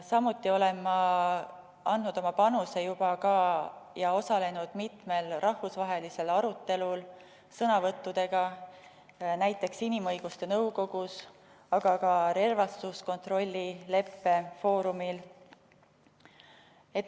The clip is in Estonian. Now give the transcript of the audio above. Samuti olen andnud oma panuse ja osalenud juba ka mitmel rahvusvahelisel arutelul sõnavõttudega, näiteks inimõiguste nõukogus, aga ka relvastuskontrollileppe foorumil.